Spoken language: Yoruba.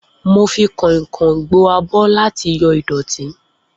Mo fi kàìn-kàìn gbo abọ́ láti yọ ìdọ̀tí